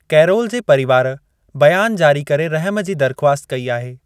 Carol जे परिवार बयानु जारी करे रहिमु जी दरिख़्वासत कई आहे।